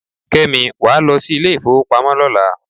Kẹ́mi, wàá lọ sí ilé ifowopamo lọ́la.